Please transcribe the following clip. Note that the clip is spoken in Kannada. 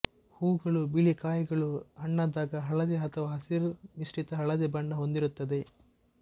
ಹೂಗಳು ಬಿಳಿಕಾಯಿಗಳು ಹಣ್ಣಾದಾಗ ಹಳದಿ ಅಥವಾ ಹಸಿರು ಮಿಶ್ರಿತ ಹಳದಿ ಬಣ್ಣ ಹೊಂದಿರುತ್ತದೆ